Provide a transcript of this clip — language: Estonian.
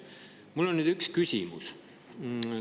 Mul on nüüd üks küsimus.